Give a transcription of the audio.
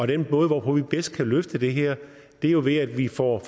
den måde hvorpå vi bedst kan løfte det her er jo ved at vi får